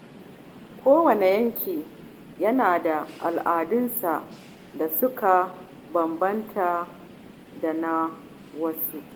Kowane yanki yana da al’adunsa da suka bambanta da na wasu.